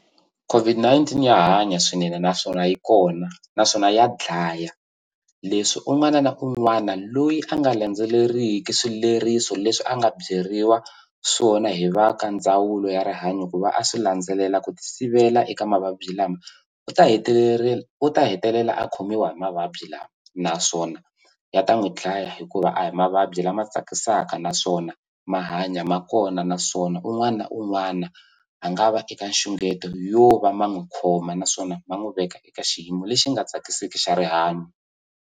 COVID-19 ya hanya swinene naswona yi kona naswona ya dlaya leswi un'wana na un'wana loyi a nga landzeleriki swileriso leswi a nga byeriwa swona hi va ka ndzawulo ya rihanyo ku va a swi landzelela ku tisivela eka mavabyi lama u ta u ta hetelela a khomiwa hi mavabyi lama naswona ya ta n'wi dlaya hikuva a hi mavabyi lama tsakisaka naswona ma hanya ma kona naswona un'wana un'wana a nga va eka nxungeto yo va ma n'wi khoma naswona ma n'wi veka eka xiyimo lexi nga tsakiseki xa rihanyo.